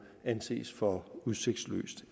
anses for udsigtsløs